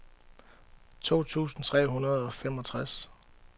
to tusind tre hundrede og femogtres